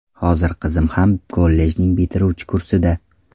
Hozir qizim ham kollejning bitiruvchi kursida.